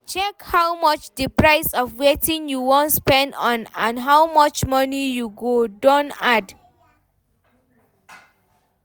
Check how much di price of wetin you wan spend on and how much money go don add